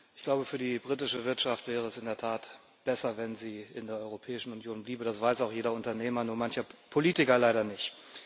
Ich glaube, für die britische Wirtschaft wäre es in der Tat besser, wenn sie in der Europäischen Union bliebe, das weiß auch jeder Unternehmer, nur mancher Politiker leider nicht.